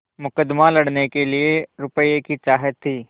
मुकदमा लड़ने के लिए रुपये की चाह थी